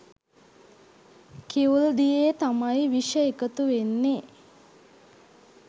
කිවුල් දියේ තමයි විෂ එකතු වෙන්නේ.